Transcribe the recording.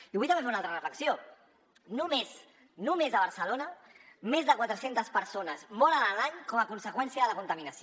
i vull també fer una altra reflexió només només a barcelona més de quatre centes persones moren a l’any com a conseqüència de la contaminació